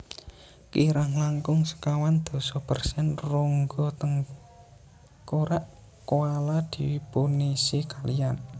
Kirang langkung sekawan dasa persen rongga tengkorak koala dipunisi kaliyan